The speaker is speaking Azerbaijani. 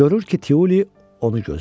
Görür ki, Tiuli onu gözləyir.